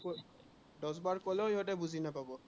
দহ বাৰ কলেও সিহঁতে বুজি নাপাব